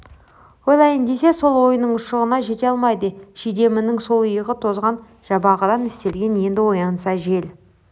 ойлайын десе сол ойының ұшығына жете алмайды шидемінің сол иығы тозған жабағыдан істелген енді оянса жел